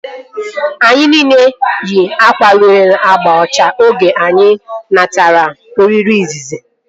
Anyi nile yi akwa nwere agba ọcha oge anyị natara oriri izizi